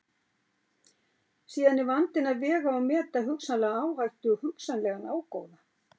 Síðan er vandinn að vega og meta hugsanlega áhættu og hugsanlegan ágóða.